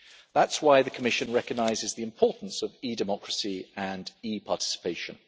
That is why the Commission recognises the importance of e Democracy and e participation.